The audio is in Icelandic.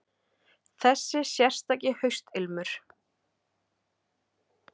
Þessi sérstaki haustilmur.